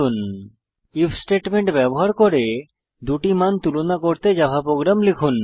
if statement ব্যবহার করে দুটি মান তুলনা করতে জাভা প্রোগ্রাম লিখুন